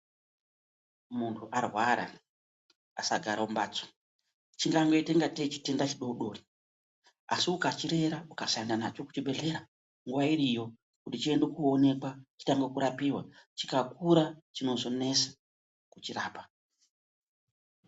Muntu arwara, asagara mumbatso, chingangoita kungatei chitenda chidodori asi ukachirera ukasaenda nacho kuchibhehlera nguwa iriyo kuti chiende koonekwa chitange kurapiwa. Chikakura chinozonesa kuchirapa.